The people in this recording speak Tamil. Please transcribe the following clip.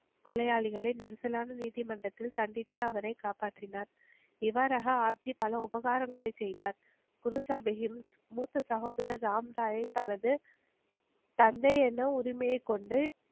கொலையாளிகளை நெரிசலான நீதிமன்றத்தில் சந்தித்து அவரை காப்பாற்றினார். இவ்வாறாக ஆப்ஜி பல உபகாரங்களை செய்தார் குருசாபியும் மூத்த சகோதரர் ராம்ராயை தனது தந்தை என்னும் உரிமையை கொண்டு